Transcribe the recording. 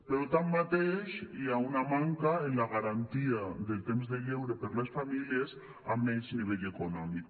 però tanmateix hi ha una manca en la garantia del temps de lleure per a les famílies amb menys nivell econòmic